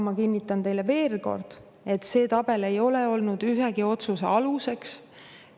Ma kinnitan teile veel kord, et see tabel ei ole olnud ühegi otsuse aluseks.